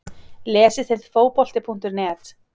Lesið þið Fótbolti.net?